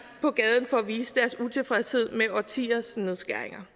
på gaden for at vise deres utilfredshed med årtiers nedskæringer